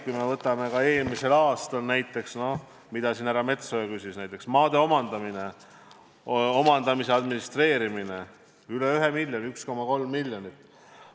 Kui vaatame eelmist aastat, näiteks seda, mille kohta härra Metsoja siin küsis, siis võib rääkida maade omandamisest, omandamise administreerimisest – selle peale on läinud üle ühe miljoni, 1,3 miljonit.